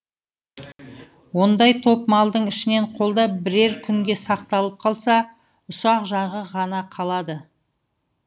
ондай топ малдың ішінен қолда бірер күнге сақталып қалса ұсақ жағы ғана қалады